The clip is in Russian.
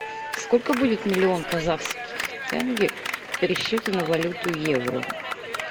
сколько будет миллион казахских тенге в пересчете на валюту евро